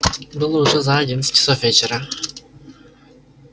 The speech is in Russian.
было уже за одиннадцать часов вечера